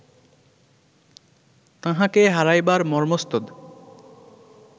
তাঁহাকে হারাইবার মর্ম্মস্তুদ